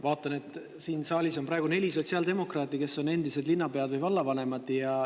Vaatan, et siin saalis on praegu neli sotsiaaldemokraati, kes on endised linnapead või vallavanemad.